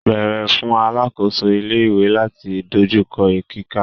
Beere fun alakoso ile-iwe lati dojukọ kika.